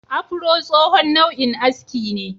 Afuro tsohon nau'in aski ne.